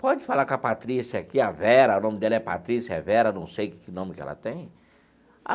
Pode falar com a Patrícia aqui, a Vera, o nome dela é Patrícia, é Vera, não sei que nome que ela tem.